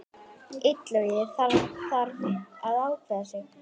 Illugi þarf að ákveða sig.